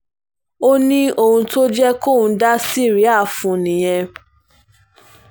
ó ní ohun tó jẹ́ kóun dá síríà fún un nìyẹn